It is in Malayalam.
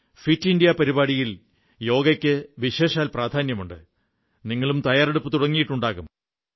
ഫിറ്റ് ഇന്ത്യാ പരിപാടിയിൽ യോഗയ്ക്ക് വിശേഷാൽ പ്രാധാന്യമുണ്ട് നിങ്ങളും തയ്യാറെടുപ്പു തുടങ്ങിയിട്ടുണ്ടാകും